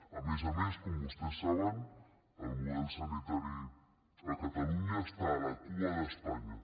a més a més com vostès saben el model sanitari a catalunya està a la cua d’espanya